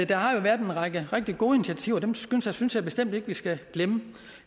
der har været en række rigtig gode initiativer dem synes jeg bestemt ikke at vi skal glemme